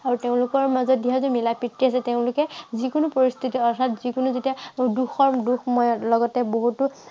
আৰু তেওঁলোকৰ মাজত বিশেষকৈ মিলা প্ৰীতি আছে। তেওঁলোকে যি কোনো পৰিস্থিতি অৰ্থাত যি কোনো যেতিয়া দুখৰ দুখময় লগতে বহুতো